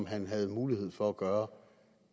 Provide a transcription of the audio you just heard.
havde mulighed for at gøre